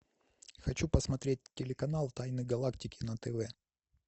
хочу посмотреть телеканал тайны галактики на тв